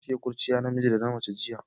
Na siya kurciya na miji da na mace jiya.